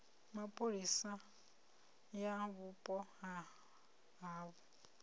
mapholisa ya vhupo ha havho